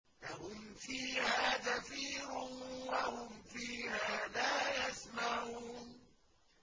لَهُمْ فِيهَا زَفِيرٌ وَهُمْ فِيهَا لَا يَسْمَعُونَ